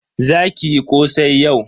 Za ki yi kosai yau.